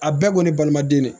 A bɛɛ kɔni ye balima den de ye